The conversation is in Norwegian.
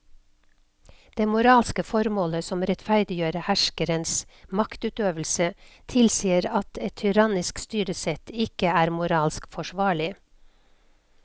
Det moralske formålet som rettferdiggjør herskerens maktutøvelse tilsier at et tyrannisk styresett ikke er moralsk forsvarlig.